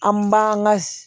An b'an ka